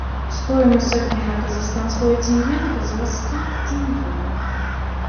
стоимость обмена казахстанского тенге на казахский тенге